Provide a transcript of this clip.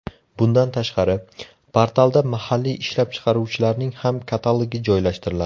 Bundan tashqari, portalda mahalliy ishlab chiqaruvchilarning ham katalogi joylashtiriladi.